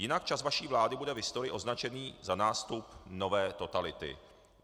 Jinak čas vaší vlády bude v historii označený za nástup nové totality.